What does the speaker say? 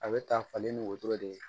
A bɛ ta falen ni wotoro de ye